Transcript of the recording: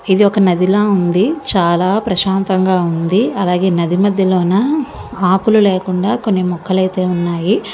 ఇది నదిలా ఉంది. చాలా ప్రశాంతంగా ఉంది. అలాగే నది మద్యలోనా మార్పులు లేకుండా కొన్ని మొక్కలైతే ఉన్నాయి. అటువైపు ప్రదేశం మొత్తం కూడా చాలా ప్రశాంతంగా ఉంది. రోజు ప్రదేశం మొత్తం మొక్కలతో కూడి ఉంది. చూడటానికి ఎంతో ఆహ్లాదకరంగా ఉంటుంది.